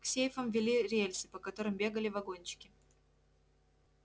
к сейфам вели рельсы по которым бегали вагончики